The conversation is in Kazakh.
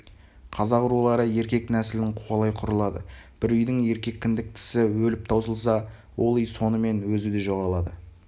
қазақ рулары еркек нәсілін қуалай құрылады бір үйдің еркек кіндіктісі өліп таусылса ол үй сонымен өзі де жоғалады